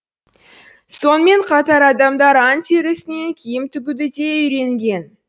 сонымен қатар адамдар аң терісінен киім тігуді де үйренген